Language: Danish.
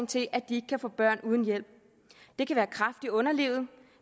til at de ikke kan få børn uden hjælp det kan være kræft i underlivet